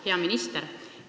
Hea minister!